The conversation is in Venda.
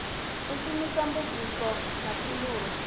u shumisa mbudziso na phindulo